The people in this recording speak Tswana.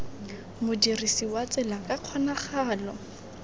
modirisi wa tsela ka kgonagalo